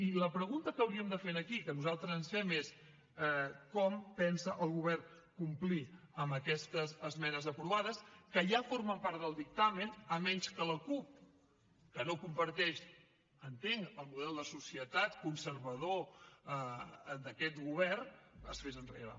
i la pregunta que hauríem de fer aquí i que nosaltres ens fem és com pensa el govern complir amb aquestes esmenes aprovades que ja formen part del dictamen a menys que la cup que no comparteix entenc el model de societat conservador d’aquest govern es fes enrere